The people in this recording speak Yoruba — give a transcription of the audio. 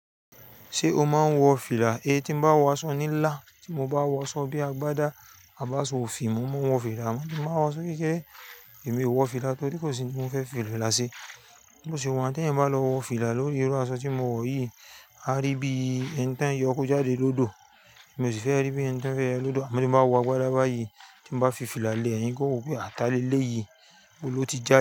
Ṣé o máa ń wọ fìlà? É tí mo bá wọ aṣọ nílà, tí mo bá wọ aṣọ bí agbádá, a bá sọ ò fi, mo máa wọ fìlà mọ́. Tí mo bá wọ aṣọ kérékèrè, èmi ò wọ fìlà torí kò sí ohun tí mo fẹ́ fila láṣẹ. Bó ti wọ́n, tí ẹ̀yin bá lọ wọ fìlà lórí irú aṣọ tí mo wọ̀ yìí, á rí bí ẹ̀ni tí woń yọ kó jáde lódò. Èmi ò sì fẹ́ rí bí ẹ̀ni tí woń fẹ́ ẹ lódò. Àmá tí mo bá wọ agbádá bá yi, tí mo bá fi fìlà lé ẹ̀yin gan ó wọ́ pé tàni élé yìí, bó ló ti jáde.